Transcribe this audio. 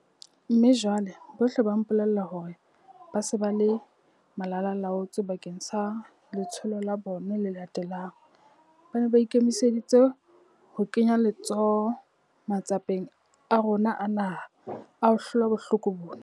Mme jwale, bohle ba mpolella hore ba se ba le malalaalaotswe bakeng sa letsholo la bona le latelang. Ba ne ba ikemiseditse ho kenya letsoho matsapeng a rona a naha a ho hlola bohloko bona.